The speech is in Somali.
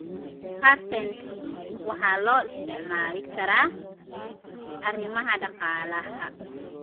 Patents waxaa loo isticmaali karaa arrimaha dhaqaalaha.